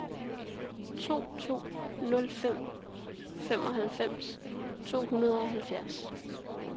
to to nul fem femoghalvfems to hundrede og halvfjerds